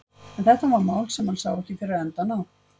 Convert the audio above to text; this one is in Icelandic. En þetta var mál sem hann sá ekki fyrir endann á.